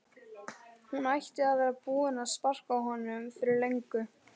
Hún ætti að vera búin að sparka honum fyrir löngu